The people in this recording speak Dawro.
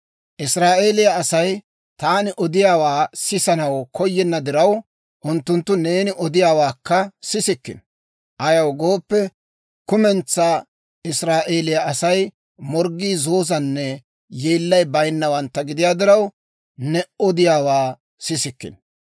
Israa'eeliyaa Asay taani odiyaawaa sisanaw koyenna diraw, unttunttu neeni odiyaawaakka sissikkino. Ayaw gooppe, kumentsaa Israa'eeliyaa Asay morggii zoozanne yeellay baynnawantta gidiyaa diraw, ne odiyaawaa sissikkino.